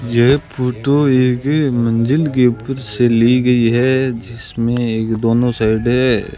ये फोटो एक मंदिर के ऊपर से ली गयी है जिसमें एक दोनों साइड --